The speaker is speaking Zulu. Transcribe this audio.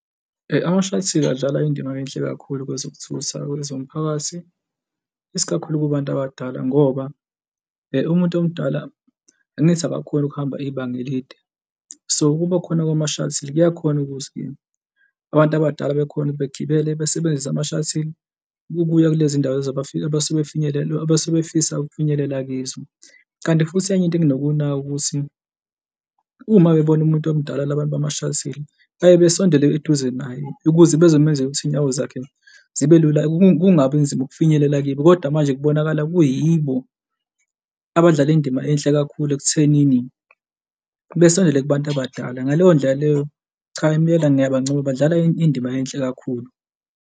Ama-shuttles adlala indima enhle kakhulu kwezokuthutha kwezomphakathi, isikakhulu kubantu abadala ngoba umuntu omdala angithi abakhoni ukuhamba ibanga elide, so, ukuba khona kwama-shuttle kuyakhona ukuthi-ke abantu abadala bekhone begibele, besebenzise mashuttle ukuya kulezi ndawo abasebefinyelele abasebefisa ukufinyelela kizo. Kanti futhi enye into enginokuyinaka ukuthi uma bebona umuntu omdala la bantu bama-shuttle bayaye besondele eduze nabo ukuze bezomenza ukuthi iy'nyawo zakhe zibe lula kungabi nzima ukufinyelela kibo, kodwa manje kubonakala kuyibo, abadlala indima enhle kakhulu ekuthenini besondele kubantu abadala. Ngaleyo ndlela leyo, cha impela ngiyabancoma, badlala indima enhle kakhulu.